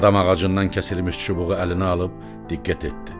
Badam ağacından kəsilmiş çubuğu əlinə alıb diqqət etdi.